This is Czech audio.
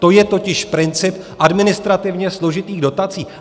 To je totiž princip administrativně složitých dotací.